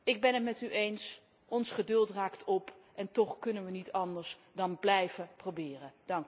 Ik ben het met u eens, ons geduld raakt op, en toch kunnen wij niet anders dan blijven proberen.